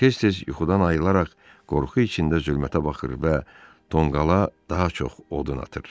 Tez-tez yuxudan ayılaraq qorxu içində zülmətə baxır və tonqala daha çox odun atır.